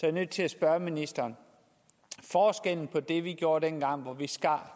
er nødt til at spørge ministeren forskellen på det vi gjorde dengang hvor vi skar